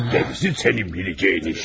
Qalanı sənin biləcəyin işdir.